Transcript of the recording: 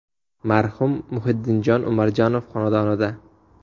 Marhum Muhiddinjon Umarjonov xonadonida.